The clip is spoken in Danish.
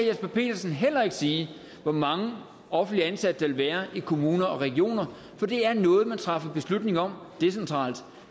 jesper petersen heller ikke sige hvor mange offentligt ansatte der vil være i kommuner og regioner for det er noget man træffer beslutning om decentralt